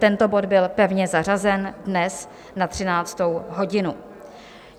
Tento bod byl pevně zařazen dnes na 13. hodinu.